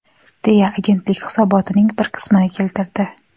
deya agentlik hisobotning bir qismini keltirdi.